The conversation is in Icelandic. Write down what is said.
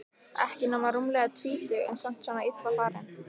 Ekki nema rúmlega tvítug en samt svona illa farin.